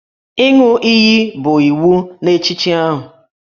Ịṅụ iyi bụ iwu n'echichi ahụ